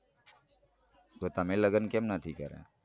તો તમે લગન કેમ નથી કર્યા.